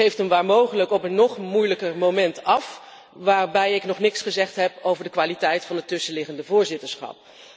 U geeft hem waar mogelijk op een nog moeilijker moment af, waarbij ik nog niets gezegd heb over de kwaliteit van het tussenliggende voorzitterschap.